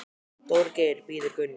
Dóri Geir bíður Gunnu.